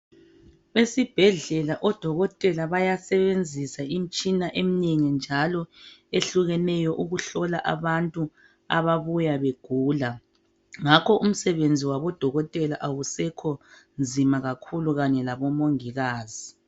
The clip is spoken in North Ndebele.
Esibhedlela odokotela bayasebenzisa imitshina eminengi njalo ehlukeneyo ukuhlola abantu ababuya begula ngakho umsebenzi wabo dokotela awusekho nzima kakhulu kanye labomongikazi.